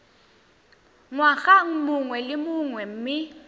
ngwaga mongwe le mongwe mme